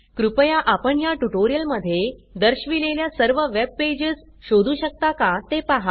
कृपया आपण ह्या ट्युटोरियल मध्ये दर्शविलेल्या सर्व वेब पेजस शोधू शकता का ते पहा